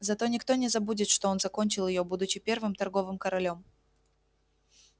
зато никто не забудет что он закончил её будучи первым торговым королём